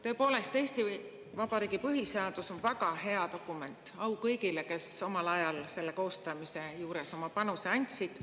Tõepoolest, Eesti Vabariigi põhiseadus on väga hea dokument, au kõigile, kes omal ajal selle koostamise juures oma panuse andsid.